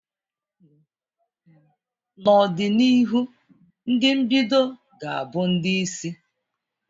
N'ọdịnihu ndị mbido ga-abụ ndị isi.